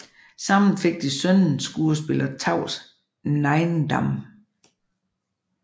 Sammen fik de sønnen skuespiller Tavs Neiiendam